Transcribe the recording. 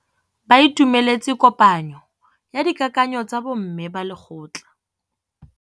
Ba itumeletse kôpanyo ya dikakanyô tsa bo mme ba lekgotla.